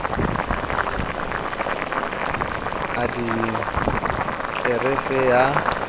a di fe tlelereke ya